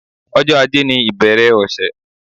Ọjọ́ ajé ni ìbẹ̀rẹ̀ ọ̀sẹ̀.